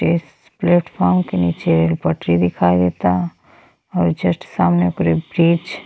इस platform के नीचे एगो पटरी दिखाई देता और जस्ट सामने ओवरब्रिज --